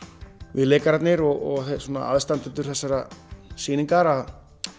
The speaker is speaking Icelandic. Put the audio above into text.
við leikararnir og aðstandendur þessarar sýningar að